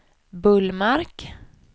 Bullmark